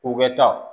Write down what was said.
U bɛ taa